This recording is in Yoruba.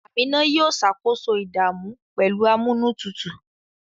Amina yóò ṣàkóso ìdààmú pẹ̀lú amúnútutù